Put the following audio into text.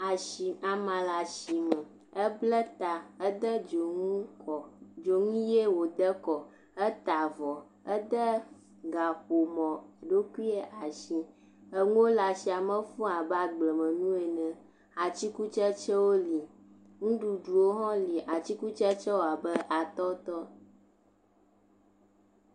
Asi. Amea le asime eble ta. Ede dzonu kɔ. Dzonu ʋie wode kɔ eta avɔ. Ede gaƒomɔɖokui asi. Enuwo le asiame fuu abe agblemenuwo ene. Atikutsetsewo li. Nuɖuɖuɖwo ho li. Atikutsetsewo abe atɔtɔ.